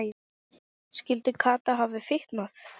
Skyldi Kata hafa fitnað?